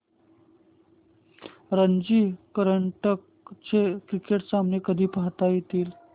रणजी करंडक चे क्रिकेट सामने कधी पाहता येतील